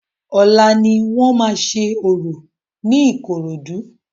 Ọlá ni wọ́n máa ṣe orò ní Ikorodu